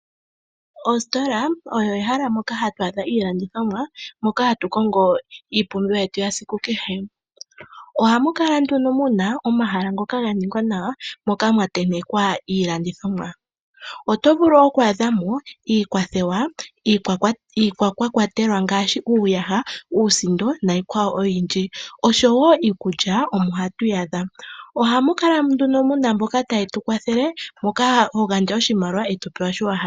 Ositola olyo ehala moka hatu adha iilandithomwa moka hatu kongo mo iipumbiwa yetu yesiku kehe. Ohamu kala nduno muna omahala ngoka ga ningwa nawa moka mwa tentekwa iilandithomwa, oto vulu oku adha mo iikwathewa, iikwatelwa ngaashi uuyaha, uusindo niikwawo oyindji, oshowo iikulya omo toyi adha. Ohamu kala nduno muna mboka taye tu kwathele moka hogandja oshimaliwa eto pewa shoka wa hala.